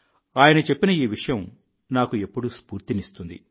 ఆయన చెప్పిన ఈ విషయం నాకు ఎప్పుడూ స్ఫూర్తినిస్తుంది